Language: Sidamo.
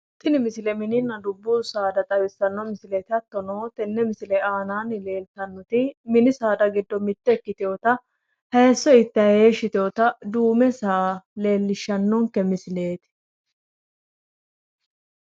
Tini misile mininna dubbu saada xawissanno misileeti hattono mini saada giddo mitte ikkitewota hayisso ittanni heeshi yitewoota duume saa leellishannonke misileeti